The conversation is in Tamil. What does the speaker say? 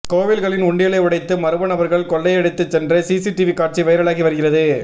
கோவில்களின் உண்டியலை உடைத்து மர்மநபர்கள் கொள்ளையடித்து சென்ற சிசிடிவி காட்சி வைரலாகி வருகிறது